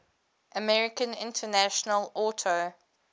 american international auto